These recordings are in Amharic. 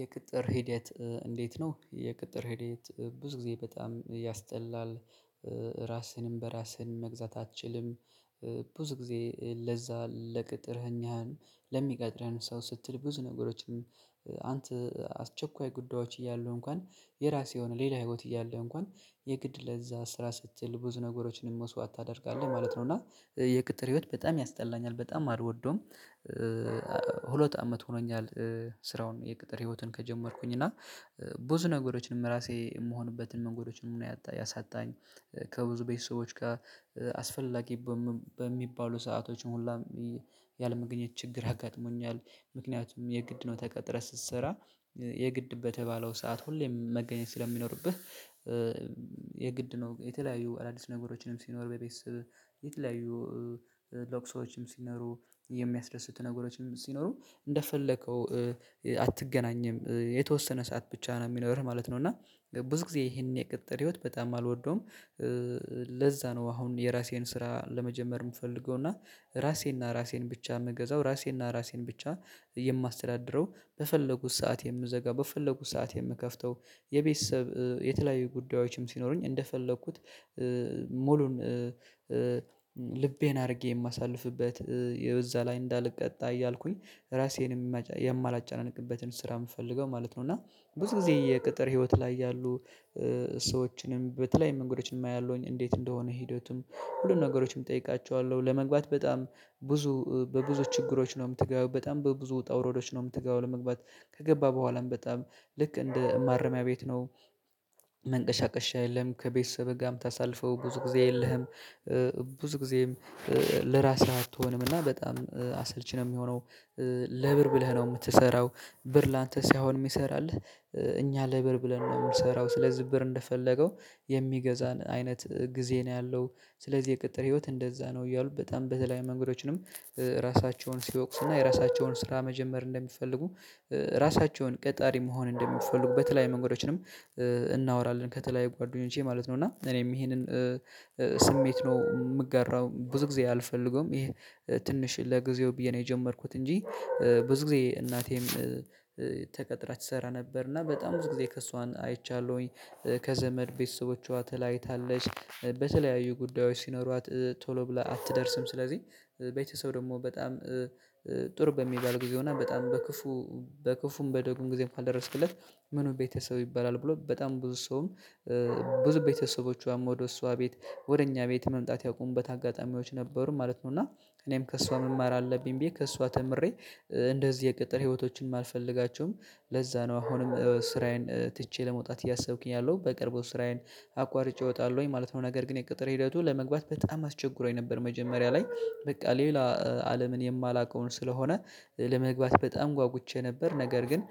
የቅጥር ሂደት እንዴት ነው የቅጥር ሂደት? ብዙ ጊዜ በጣም ያስጠላል። ራስህንም በራስህን መግዛት አትችልም። ብዙ ጊዜ ለዛ ለቅጥርህኛህን ለሚቀጥርህን ሰው ስትል ብዙ ነገሮችም አንተ አስቸኳይ ጉዳዮች እያሉ እንኳን የራስህ የሆነ ሌላ ህይወት እያለ እንኳን የግድ ለዛ ስራ ስትል ብዙ ነገሮችን መሰዋዕት ታደርጋለህ ማለት ነው። እና የቅጥር ህይወት በጣም ያስጠላኛል በጣም አልወደውም። ሁለት አመት ሆኖኛል። ስራውን የቅጥር ህይወትን ከጀመርኩኝ እና ብዙ ነገሮችንም ራሴ የምሆንበትን ነገሮችንም ያሳጣኝ ከብዙ ቤተሰቦች ጋር አስፈላጊ በሚባሉ ሰአቶችን ሁላም ያለምንም መገኘት ችግር አጋጥሞኛል። ምክንያቱም የግድ ነው ተቀጥረህ ስትሰራ የግድ በተባለው ሰዓት ሁሌም መገኘት ስለሚኖርብህ። የግድ ነው የተለያዩ አዳዲስ ነገሮችንም ሲኖር በቤት የተለያዩ ለቅሶዎችም ሲኖሩ የሚያስደስት ነገሮችም ሲኖሩ እንደፈለከው አትገናኝም የተወሰነ ሰዓት ብቻ ነው የሚኖርህ ማለት ነው። እና ብዙ ጊዜ ይሄንን የቅጥር ህይወት በጣም አልወደውም። ለዛ ነው አሁን የራሴን ስራ ለመጀመር የምፈልገው። እና ራሴና ራሴን ብቻ የምገዛው ራሴና ራሴን ብቻ የማስተዳድረው በፈለጉት ሰዓት የምዘጋው በፈለጉት ሰዓት የምከፍተው የቤተሰብ የተለያዩ ጉዳዮችም ሲኖሩኝ እንደፈለኩት ሙሉን ልቤን አድርጌ የማሳልፍበት የዛ ላይ እንዳልቀጣ እያልኩኝ ራሴን የማላጫነቅበትን ስራ የምፈልገው ማለት ነው። እና ብዙ ጊዜ የቅጥር ህይወት ላይ ያሉ ሰዎችንም በተለያዩ መንገዶችንም አያለሁኝ እንዴት እንደሆነ ሂደቱም ሁሉም ነገሮችም እጠይቃቸዋለሁ ለመግባት በጣም ብዙ በብዙ ችግሮች ነው የምትገባው በጣም በብዙ ውጣ ውረዶች ነው የምትገባው። ለመግባት ከገባ በኋላም በጣም ልክ እንደ ማረሚያ ቤት ነው። መንቀሳቀሻ የለም ከቤተሰብ ጋር ምታሳልፈው ብዙ ጊዜ የለህም። ብዙ ጊዜም ለራስህ አትሆንም እና በጣም አሰልቺ ነው የሚሆነው። ለብር ብለህ ነው የምትሰራው። ብር ላንተ ሳይሆን የሚሰራልህ እኛ ለብር ብለን ነው የምሰራው ስለዚህ ብር እንደፈለገው የሚገዛን አይነት ጊዜ ነው ያለው። ስለዚህ የቅጥር ህይወት እንደዛ ነው እያሉ በጣም በተለይ መምህሮችንም ራሳቸውን ሲወቅሱና የራሳቸውን ስራ መጀመር እንደሚፈልጉ ራሳቸውን ቀጣሪ መሆን እንደሚፈልጉ በተለያዩ መንገዶችንም እናወራለን። ከተለያዩ ጓደኞቼ ማለት ነው እና እኔም ይሄንን ስሜት ነው የምገራው ብዙ ጊዜ አልፈልገውም ይሄ ትንሽ ለጊዜው ብዬ ነው የጀመርኩት። እንጂ ብዙ ጊዜ እናቴም ተቀጥራ ትሰራ ነበር እና በጣም ብዙ ጊዜ ከእሷን አይቻለሁኝ። ከዘመድ ቤተሰቦቿ ተለያይታለች በተለያዩ ጉዳዮች ሲኖሯት ቶሎ ብለህ አትደርስም ስለዚህ ቤተሰብ ደግሞ በጣም ጥሩ በሚባል ጊዜው ና በጣም በክፉ በክፉም በደጉም ጊዜም ካልደረስክለት ምኑን ቤተሰብ ይባላል ብሎ በጣም ብዙ ሰውም ብዙ ቤተሰቦቿም ወደ እሷ ቤት ወደ እኛ ቤት መምጣት ያቆሙበት አጋጣሚዎች ነበሩ ማለት ነው። እና እኔም ከእሷ መማር አለብኝ ብዬ ከእሷ ተምሬ እንደዚህ የቅጥር ህይወቶችንም አልፈልጋቸውም። ለዛ ነው አሁንም ስራዬን ትቼ ለመውጣት እያሰብኩኝ ያለው በቅርበው ስራዬን አቋርጬ እወጣለሁኝ ማለት ነው። ነገር ግን የቅጥር ሂደቱ ለመግባት በጣም አስቸግሮኝ ነበር መጀመሪያ ላይ በቃ ሌላ አለምን የማላውቀውን ስለሆነ ለመግባት በጣም ጓጉቼ ነበር። ነገር ግን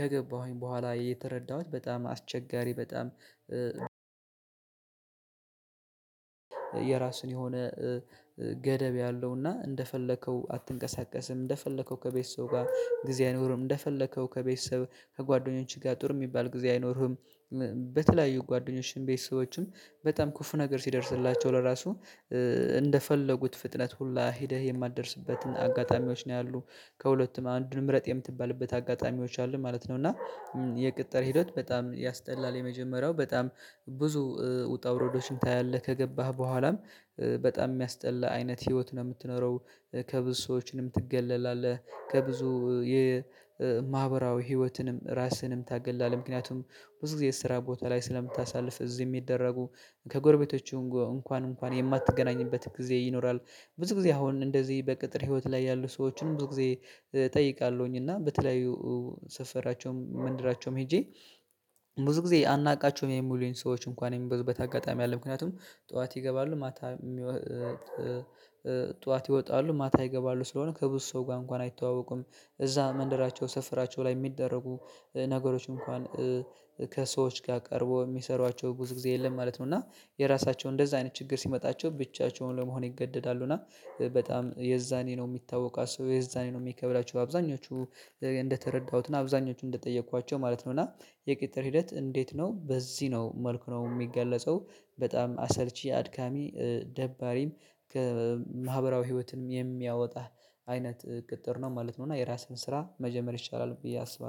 ከገባሁኝ በኋላ የተረዳሁት በጣም አስቸጋሪ በጣም የራሱን የሆነ ገደብ ያለውና እንደፈለከው አትንቀሳቀስም እንደፈለከው ከቤት ሰው ጋር ጊዜ አይኖርም እንደፈለከው ከቤተሰብ ከጓደኞችህ ጋር ጥሩ የሚባል ጊዜ አይኖርህም። በተለያዩ ጓደኞችም ቤተሰቦችም በጣም ክፍ ነገር ሲደርስላቸው ለራሱ እንደፈለጉት ፍጥነት ሁላ ሄደህ የማትደርስበትን አጋጣሚዎች ነው ያሉት ከሁለቱም አንዱንም ረጥ የምትባልበት አጋጣሚዎች አሉ ማለት ነው። እና የቅጠር ሂደት በጣም ያስጠላል የመጀመሪያው በጣም ብዙ ውጣ ውረዶችን ታያለህ ከገባህ በኋላም በጣም የሚያስጠላ አይነት ህይወት ነው የምትኖረው። ከብዙ ሰዎችንም ትገለላለህ ከብዙ የማህበራዊ ህይወትንም ራስህንም ታገላለ ምክንያቱም ብዙ ጊዜ ስራ ቦታ ላይ ስለምታሳልፍ እዚህ የሚደረጉ ከጎረቤቶቹ እንኳን እንኳን የማትገናኝበት ጊዜ ይኖራል። ብዙ ጊዜ አሁን እንደዚህ በቅጥር ህይወት ላይ ያሉ ሰዎችንም ብዙ ጊዜ እጠይቃለሁኝ እና በተለያዩ ሰፈራቸውም መንደራቸውም ሄጄ ብዙ ጊዜ አናውቃቸውም የሚሉኝ ሰዎች እንኳን የሚበዙበት አጋጣሚ አለ። ምክንያቱም ጠዋት ይገባሉ ማታ ጠዋት ይወጣሉ ማታ ይገባሉ ስለሆነ ከብዙ ሰው ጋር እንኳን አይተዋወቁም እዛ መንደራቸው ሰፈራቸው ላይ የሚደረጉ ነገሮች እንኳን ከሰዎች ጋር ቀርቦ የሚሰሯቸው ብዙ ጊዜ የለም ማለት ነው። እና የራሳቸውን እንደዛ አይነት ችግር ሲመጣቸው ብቻቸውን ለመሆን ይገደዳሉ እና በጣም የዛኔ ነው የሚታወቃቸው የዛኔ ነው የሚከብላቸው አብዛኞቹ እንደተረዳሁትና አብዛኞቹ እንደጠየኳቸው ማለት ነውና የቅጥር ሂደት እንዴት ነው በዚህ ነው መልኩ ነው የሚገለጸው? በጣም አሰልቺ አድካሚ ደባሪም ከማህበራዊ ህይወትም የሚያወጣህ አይነት ቅጥር ነው ማለት ነው። እና የራስህን ስራ መጀመር ይሻላል ብዬ አስባለሁ